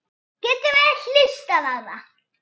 Allt var látið eftir okkur.